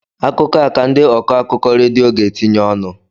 Akụkọ a ka ndị ọkọ akụkọ redio ga-etinye ọnụ